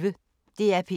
DR P1